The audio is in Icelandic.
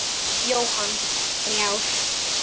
Jóhann: Þrjár?